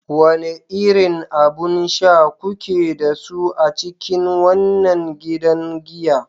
Wane irin abun sha kuke da su a cikin wannan gidan giya?